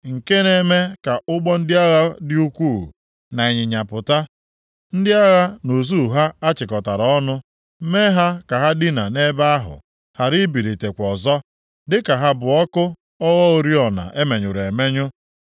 Nke na-eme ka ụgbọ ndị agha dị ukwuu, na ịnyịnya pụta, ndị agha na ụsụ ha achịkọtara ọnụ, mee ha ka ha dinaa nʼebe ahụ, ghara ibilitekwa ọzọ, dịka ha bụ ọkụ ogho oriọna e menyụrụ emenyụ.